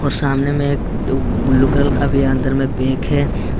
और सामने में एक ब्लू ब्लू कलर का भी अंदर में पैक है।